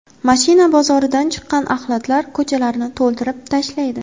Mashina bozoridan chiqqan axlatlar ko‘chalarni to‘ldirib tashlaydi.